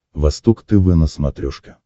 восток тв на смотрешке